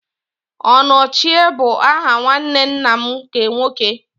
Onochie bụ aha nwanne nna m nke nwoke.